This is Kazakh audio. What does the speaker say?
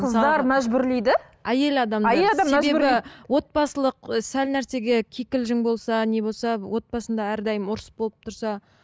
қыздар мәжбүрлейді әйел адам себебі отбасылық ы сәл нәрсеге кикілжің болса не болса отбасында әрдайым ұрыс болып тұрса